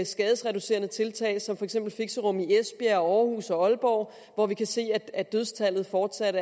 skadereducerende tiltag som for eksempel fixerum i esbjerg aarhus og aalborg hvor vi kan se at at dødstallet fortsat